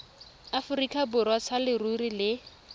aforika borwa sa leruri le